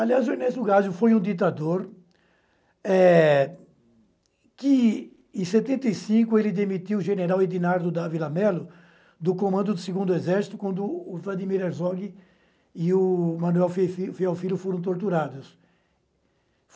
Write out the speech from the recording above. Aliás, o Ernesto Gázio foi um ditador, eh... que, em setenta e cinco, ele demitiu o general Edinardo Dávila Mello do comando do segundo Exército, quando o Vladimir Herzog e o Manuel Fefi Feofilo foram torturados.